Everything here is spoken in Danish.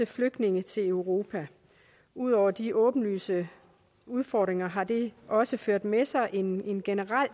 flygtninge til europa ud over de åbenlyse udfordringer har det også ført med sig en en generel